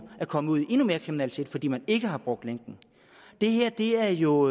er kommet ud i endnu mere kriminalitet fordi man ikke har brugt lænken det her er jo